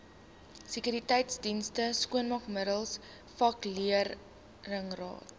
sekuriteitsdienste skoonmaakmiddels vakleerlingraad